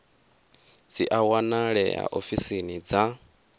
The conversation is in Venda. dzi a wanalea ofisini dza